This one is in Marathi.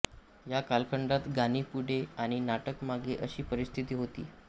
या कालखंडात गाणी पुढे आणि नाटक मागे अशी परिस्थिती होती